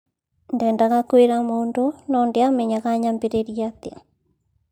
Ndendaga kwĩra mũndũ ,no ndĩamenyaga nyambirĩrie atĩa